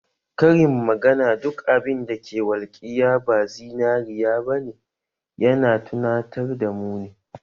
Karin magana duk abin da ke walƙiya ba zinariya ba ne ya na tunatar da mu ne